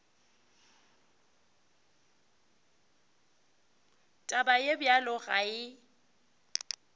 taba ye bjalo ga e